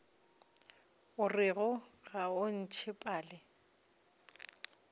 orego ga o ntšhe pale